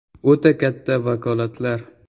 O‘ta katta vakolatlar.